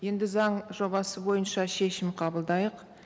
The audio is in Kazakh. енді заң жобасы бойынша шешім қабылдайық